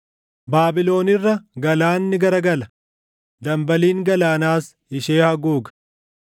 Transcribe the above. Baabilon irra galaanni garagala; dambaliin galaanaas ishee haguuga.